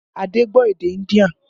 Adé gbọ́ èdè India